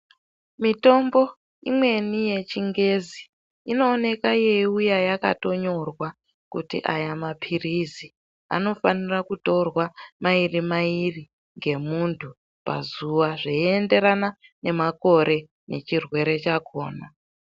Mitombo imweni yechingezi inooneka yeiuye yakatonyorwa kuti aya mapirizi anofanira kutorwa mairi mairi ngemuntu pazuwa zveienderana nemakore nechirwere chakona.